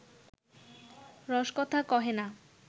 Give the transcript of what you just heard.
রসকথা কহে না